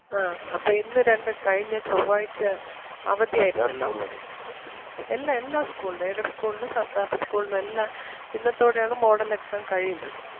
ആ അപ്പം ഇന്ന് രണ്ട് കഴിഞ്ഞ ചൊവ്വാഴ്ച്ച അവധി ആരുന്നല്ലോ എല്ലാ എല്ലാ school നും aided school നും സർക്കാർ school നും എല്ലാം ഇന്നത്തോടെ ആണ് model exam കഴിയുന്നത്.